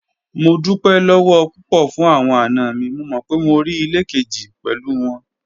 Mo dupẹ lọwọ pupọ fun awọn ana mi, mo mọ pe mo rii ile keji pẹlu wọn